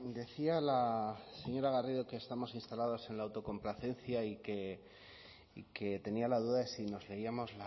decía la señora garrido que estamos instalados en la autocomplacencia y que tenía la duda de si nos leíamos